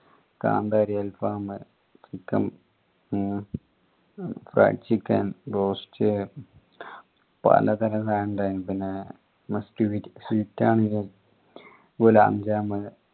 കാന്താരി alfam fried chicken roast പലതരം സാനം ഇണ്ടായിനു പിന്നെ sweets ആണെങ്കിലോ ഗുലാബ് ജമുന്